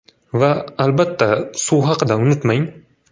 Va, albatta, suv haqida unutmang.